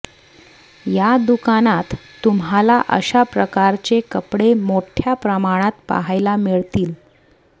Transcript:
या दुकानात तुम्हाला अशा प्रकारचे कपडे मोठय़ा प्रमाणात पाहायला मिळतील